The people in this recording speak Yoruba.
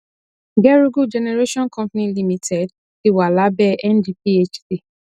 gerugu generation company limited ti wà lábẹ ndphc